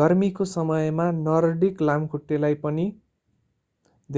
गर्मीको समयमा नर्डिक लामखुट्टेलाई पनि